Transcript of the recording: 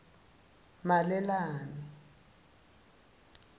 malelane